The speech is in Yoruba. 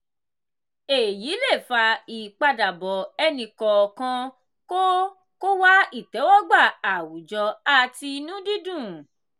èyí le fa ipadabọ ẹni kọọkan kó kó wá ìtẹ́wọ́gbà àwùjọ àti inú dídùn.